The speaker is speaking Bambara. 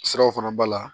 Siraw fana b'a la